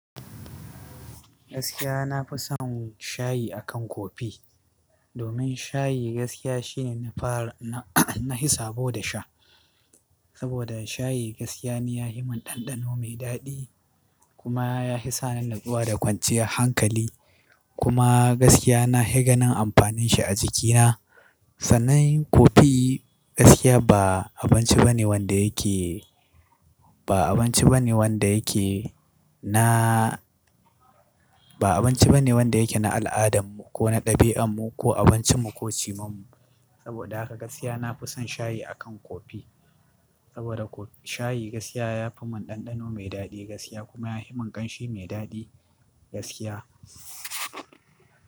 Gaskiya na fi son shayi akan kofi, domin shayi gaskiya shine na fara, na, na hisa bo da sha. Saboda shayi gaskiya ne ya hi mun ɗanɗano mai daɗi kuma ya hi sa ni natsuwa da kwanciyar hankali. Kuma gaskiya na, hi gakanin amfanin shi a jikina. Sannan kofi gaskiya ba abinci ba ne wanda yake, ba abinci ba ne wanda yake na, ba abinci ba ne wanda yake na al'adan mu ko na ɗabi'an mu ko abincin mu ko cimam mu. Saboda haka gaskiya na fi son shayi akan kofi. Saboda shayi gaskiya ya yi mun ɗanɗano mai daɗi gaskiya kuma ya yihi min ƙanshi mai daɗi gaskiya.